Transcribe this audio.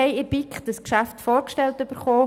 Dieses Geschäft wurde uns in der BiK vorgestellt.